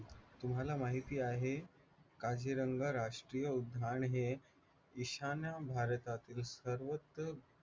तुम्हाला माहिती आहे माझीरंगा राष्ट्रीय उद्यान हे ईशान्य भारतातील सर्वत्र